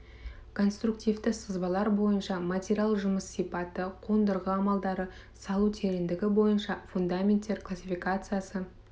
конструктивті сызбалар бойынша материал жұмыс сипаты қондырғы амалдары салу тереңдігі бойынша фундаменттер классификациясы